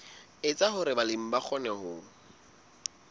etsa hore balemi ba kgone